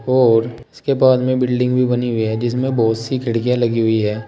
और उसके बाद में बिल्डिंग भी बनी हुई है जिसमें बहुत सी खिड़कियां लगी हुई है।